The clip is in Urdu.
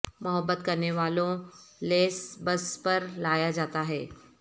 محبت کرنے والوں لیس بس پر لایا جاتا ہے